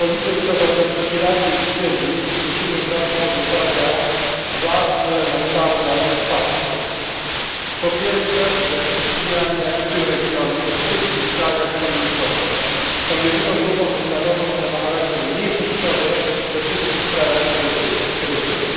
W polityce wobec Iraku i Syrii musimy brać pod uwagę dwa elementarne fakty. Po pierwsze, że chrześcijanie w tym regionie, we wszystkich krajach, są mniejszością, są jedyną grupą wyznaniową, która ma charakter mniejszościowy we wszystkich krajach, w których żyje.